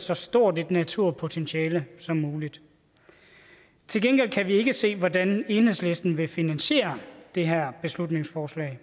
så stort et naturpotentiale som muligt til gengæld kan vi ikke se hvordan enhedslisten vil finansiere det her beslutningsforslag